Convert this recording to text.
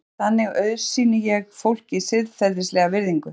Einungis þannig auðsýni ég fólki siðferðilega virðingu.